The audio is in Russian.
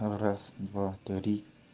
раз два три